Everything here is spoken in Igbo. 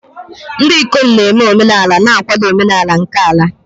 Ndị ikom na-eme omenala na-akwado omenala nke ala.